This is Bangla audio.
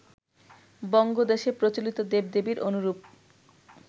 বঙ্গদেশে প্রচলিত দেব-দেবীর অনুরূপ